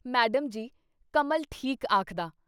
Madam ji! Kamal ਠੀਕ ਆਖਦਾ।"